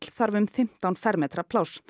þarf um fimmtán fermetra pláss